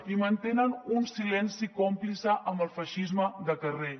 i mantenen un silenci còmplice amb el feixisme de carrer